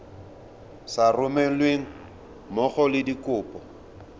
sa romelweng mmogo le dikopo